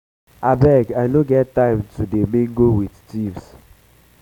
abeg i no get time to um dey mingle with thieves